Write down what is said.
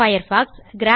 Firefox